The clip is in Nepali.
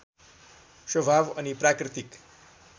स्वभाव अनि प्राकृतिक